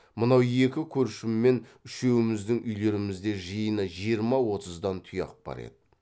мынау екі көршіммен үшеуіміздің үйлерімізде жиыны жиырма отыздан тұяқ бар еді